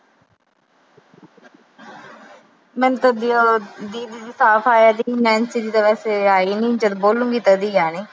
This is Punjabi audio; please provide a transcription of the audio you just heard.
ਮੈਨੂੰ ਤਾਂ ਦੀਦੀ ਦੀ ਸਾਫ ਆ ਰਹੀ, ਨੈਨਸੀ ਦੀ ਤਾਂ ਸਵੇਰੇ ਆਈ ਨੀ, ਜਦੋਂ ਬੋਲੂਗੀ ਤਦੇ ਆਣੀ।